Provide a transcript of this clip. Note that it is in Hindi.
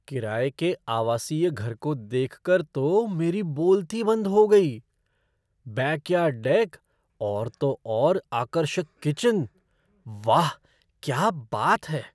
किराये के आवासीय घर को देखकर तो मेरी बोलती बंद हो गई। बैकयार्ड डेक और तो और आकर्षक किचन, वाह! क्या बात है!